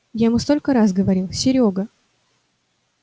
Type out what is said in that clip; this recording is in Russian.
я ему сколько раз говорил серёга